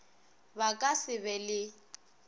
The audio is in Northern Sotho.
ba ka se be le